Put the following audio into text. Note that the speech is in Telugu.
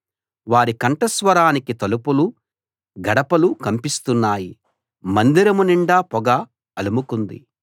వారి కంఠస్వరానికి తలుపులు గడపలు కంపిస్తున్నాయి మందిరం నిండా పొగ అలుముకుంది